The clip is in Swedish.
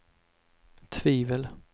tvivel